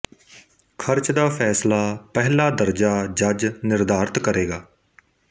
ਖਰਚ ਦਾ ਫ਼ੈਸਲਾ ਪਹਿਲਾ ਦਰਜਾ ਜੱਜ ਨਿਰਧਾਰਿਤ ਕਰੇਗਾ